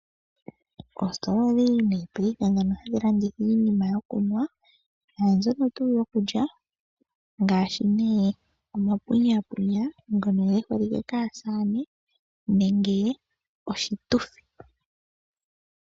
Oostola odhindji nee paife ndhono hadhi landitha iinima yokunwa naandjono tuu yoku lya, ngaashi nee omapunyaapunya ngono ge holike kaasaane nenge oshituthi.